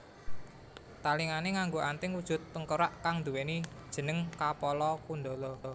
Talingané nganggo anting wujud tengkorak kang nduwèni jeneng Kapala Kundala